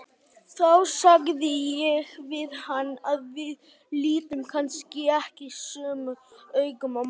Þá sagði ég við hann að við litum kannski ekki sömu augum á málin.